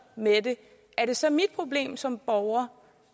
med det er det så mit problem som borger